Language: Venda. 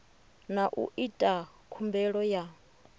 na u ita khumbelo ya